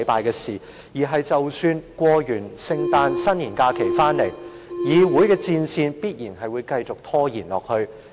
即使在聖誕和新年假期過後，立法會的這場仗必定會繼續打下去。